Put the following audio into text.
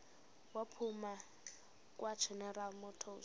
waphuma kwageneral motors